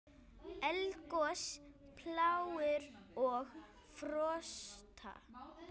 Eldgos, plágur og frosta